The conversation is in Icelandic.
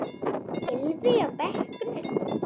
Gylfi á bekkinn?